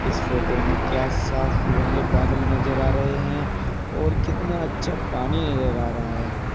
इस फोटो में क्या साफ घने बादल नजर आ रहे हैं और कितना अच्छा पानी नजर आ रहा है।